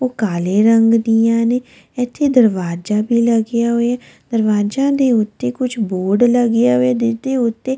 ਉਹ ਕਾਲੇ ਰੰਗ ਦੀਆਂ ਨੇ ਇੱਥੇ ਦਰਵਾਜ਼ਾ ਵੀ ਲੱਗਿਆ ਹੋਇਆ ਹੈ ਦਰਵਾਜ਼ਿਆਂ ਦੇ ਉੱਤੇ ਕੁਝ ਬੋਰਡ ਲੱਗਿਆ ਹੋਇਆ ਹੈ ਜਿਸ ਦੇ ਉੱਤੇ --